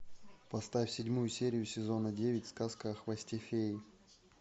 поставь седьмую серию сезона девять сказка о хвосте феи